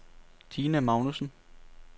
Dina Magnussen